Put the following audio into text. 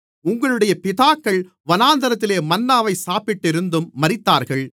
உங்களுடைய பிதாக்கள் வனாந்திரத்திலே மன்னாவைச் சாப்பிட்டிருந்தும் மரித்தார்கள்